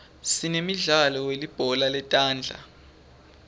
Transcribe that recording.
sinemidlalo welibhola letandla